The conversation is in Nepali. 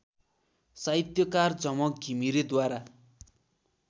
साहित्यकार झमक घिमिरेद्वारा